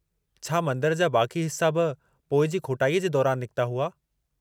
छा मंदिर जा बाक़ी हिस्सा बि पोइ जी खोटाई जे दौरान निकता हुआ?